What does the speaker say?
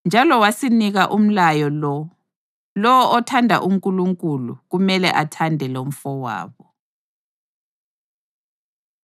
Njalo wasinika umlayo lo: Lowo othanda uNkulunkulu kumele athande lomfowabo.